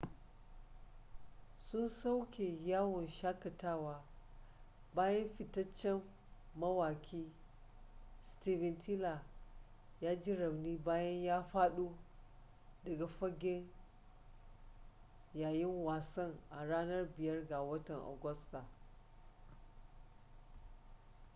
sun soke yawon shakatawa bayan fitaccen mawaƙi steven tyler ya ji rauni bayan ya faɗo daga fage yayin wasan a ranar 5 ga watan agusta